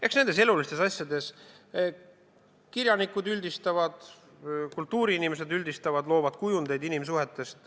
Eks nendes elulistes asjades kirjanikud üldistavad, kultuuriinimesed üldistavad ja loovad kujundeid inimsuhetest.